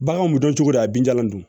Baganw bɛ dɔn cogo di a binjagalan dun